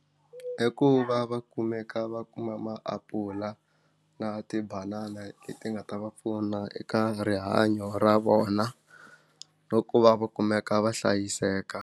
I ku va va kumeka va kuma maapula na tibanana leti nga ta va pfuna eka rihanyo ra vona na ku va va kumeka va hlayiseka.